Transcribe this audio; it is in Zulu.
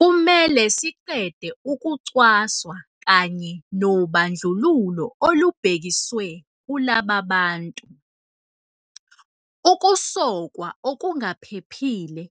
Kumele siqede ukucwaswa kanye nobandlululo olubhekiswe kulaba bantu. Ukusokwa okungaphephile